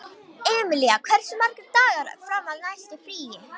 Emilía, hversu margir dagar fram að næsta fríi?